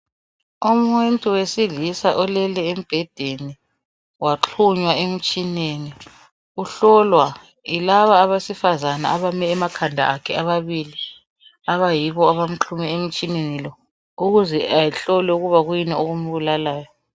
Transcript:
Umuntu wesilisa olele embhedeni waxhunywa emtshineni uhlolwa yilaba abesifazane abame emakhanda akhe ababili abayibo abamxhume emtshineni lo ukuze ehlolwe ukuba kuyini okumbulalayo.